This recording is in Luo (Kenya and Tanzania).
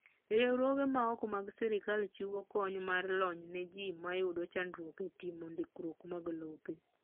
Riwruoge ma ok mag sirkal chiwo kony mar lony ne ji mmayudo chandruok e timo ndikruok mag lope.